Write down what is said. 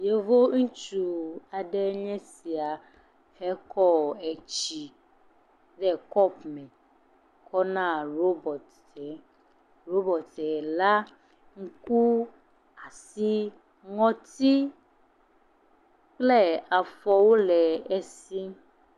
Yevu ŋutsu aɖe nye sia hekɔ etsi ɖe kɔpu me kɔna ɖobɔt e. Ɖobɔte la nuku, asi, ŋɔti kple afɔwo le esi.